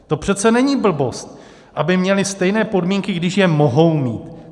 To přece není blbost, aby měli stejné podmínky, když je mohou mít.